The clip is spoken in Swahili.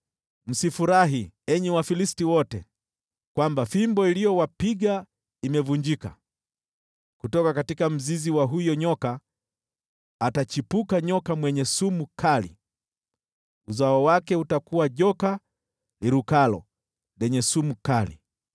Msifurahi, enyi Wafilisti wote, kwamba fimbo iliyowapiga imevunjika; kutoka mzizi wa huyo nyoka atachipuka nyoka mwenye sumu kali, uzao wake utakuwa joka lirukalo, lenye sumu kali.